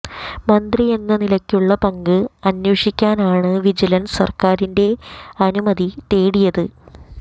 മന്ത്രി എന്ന നിലയിലുള്ള പങ്ക് അന്വേഷിക്കാനാണ് വിജിലന്സ് സര്ക്കാരിന്റെ അനുമതി തേടിയത്